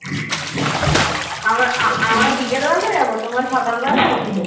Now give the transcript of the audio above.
আমরা বিকেল বেলা যাবো তোমরা সকাল বেলা আসবে